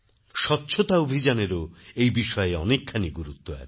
স্বচ্ছতা অভিযানেরও এই বিষয়ে অনেকখানি গুরুত্ব আছে